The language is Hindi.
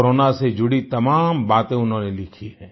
कोरोना से जुड़ी तमाम बातें उन्होंने लिखी हैं